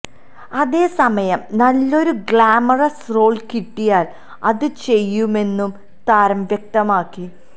അതേസമയം നല്ലൊരു glamorous role കിട്ടിയാല് അത് ചെയ്യുമെന്നും താരം വ്യക്തമാക്കി